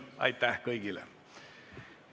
Aitäh kõigile!